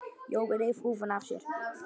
Jói reif húfuna af sér.